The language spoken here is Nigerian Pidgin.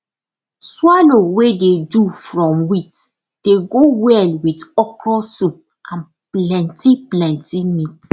swallow wey dey do from wheat dey go well with okra soup and plenty plenty meat